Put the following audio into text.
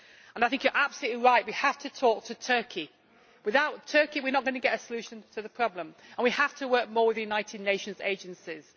I think you are absolutely right we have to talk to Turkey, because without Turkey we are not going to get a solution to the problem, and we have to work more with the United Nations agencies.